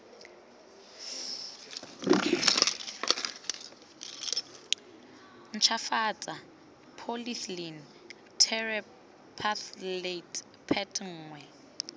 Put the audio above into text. ntshwafatsa polythylene terephthalate pet nngwe